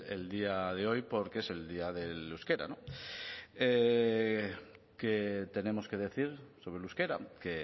el día de hoy porque es el día del euskera qué tenemos que decir sobre el euskera que